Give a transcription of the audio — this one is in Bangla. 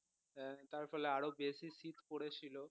হ্যাঁ তার ফলে আরও বেশি শীত পড়েছিল